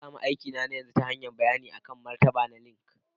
Na sami aikina na yanzu ta hanyar bayanin martaba na akan LinkedIn